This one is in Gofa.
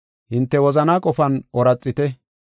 Hinte wozanaa qofan ooraxite.